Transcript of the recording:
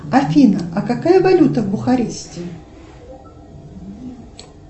афина а какая валюта в бухаресте